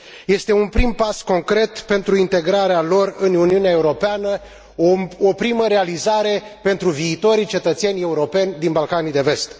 Este un prim pas concret pentru integrarea lor în Uniunea Europeană, o primă realizare pentru viitorii cetățeni europeni din Balcanii de Vest.